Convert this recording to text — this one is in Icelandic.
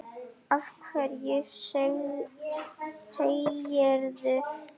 Af hverju segirðu þetta?